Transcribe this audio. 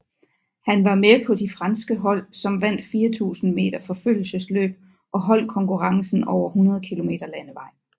Han var med på de franske hold som vandt 4000 meter forfølgelsesløb og holdkonkurrencen over 100 kilometer landevej